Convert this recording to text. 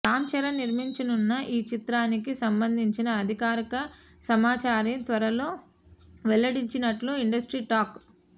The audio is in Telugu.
రామ్చరణ్ నిర్మించనున్న ఈ చిత్రానికి సంబంధించిన అధికారిక సమాచారాన్ని త్వరలో వెల్లడించనున్నట్లు ఇండస్ట్రీ టాక్